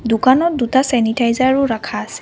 দোকানত দুটা চেনিটাইজাৰো ৰাখা আছে।